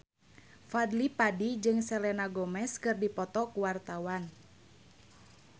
Fadly Padi jeung Selena Gomez keur dipoto ku wartawan